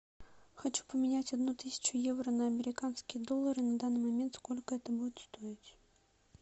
хочу поменять одну тысячу евро на американские доллары на данный момент сколько это будет стоить